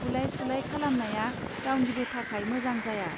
बुलाय सुलाय खालामनाया रावनिबो थाखाय मोजां जाया